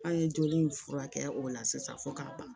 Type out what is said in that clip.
An ye joli in furakɛ o la sisan fo k'a ban